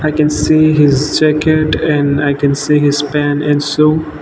i can see his jacket and i can see his pant and shoe.